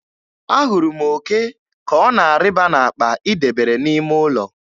Ahụrụ m òké ka ọ na-arịba n'akpa ị debere n'ime ụlọ.